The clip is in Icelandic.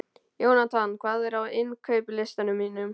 Jónatan, hvað er á innkaupalistanum mínum?